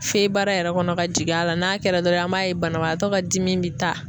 Fe baara yɛrɛ kɔnɔ ka jigin a la. N'a kɛra dɔrɔn an b'a ye banabaatɔ ka dimi bi taa.